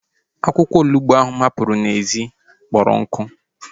Akwụkwọ onugbu ahu mụ hapụrụ n'ezi kpọrọ nkụ